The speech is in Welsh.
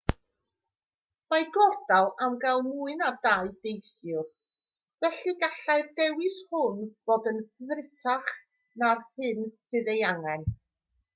mae gordal am gael mwy na 2 deithiwr felly gallai'r dewis hwn fod yn ddrutach na'r hyn sydd ei angen